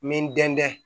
N bɛ n dɛngɛ